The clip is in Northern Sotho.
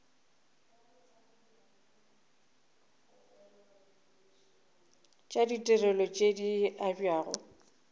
tša ditirelo tše di abjago